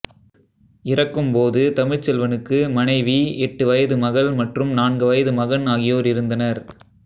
இறக்கும்போது தமிழ்ச்செல்வனுக்கு மனைவி எட்டு வயது மகள் மற்றும் நான்கு வயது மகன் ஆகியோர் இருந்தனர்